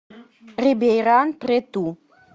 рибейран прету